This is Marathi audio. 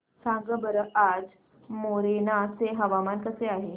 सांगा बरं आज मोरेना चे हवामान कसे आहे